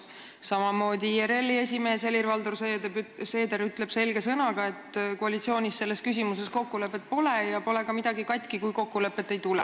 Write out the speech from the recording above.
Samamoodi ütleb IRL-i esimees Helir-Valdor Seeder selge sõnaga, et koalitsioonis selles küsimuses kokkulepet ei ole ja pole ka midagi katki, kui kokkulepet ei tule.